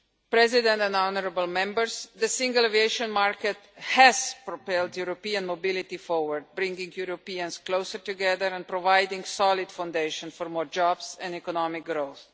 President and honourable Members, the single aviation market has propelled European mobility forward, bringing Europeans closer together and providing a solid foundation for more jobs and economic growth.